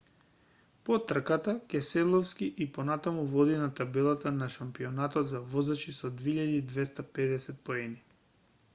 по трката кеселовски и понатаму води на табелата на шампионатот на возачи со 2250 поени